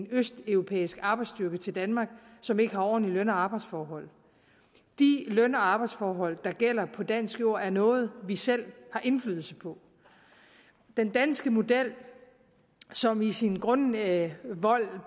østeuropæisk arbejdsstyrke til danmark som ikke har ordentlige løn og arbejdsforhold de løn og arbejdsforhold der gælder på dansk jord er noget vi selv har indflydelse på den danske model som i sin grundvold